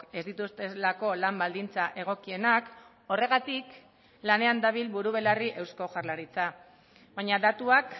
ez dituztelako lan baldintza egokienak horregatik lanean dabil buru belarri eusko jaurlaritza baina datuak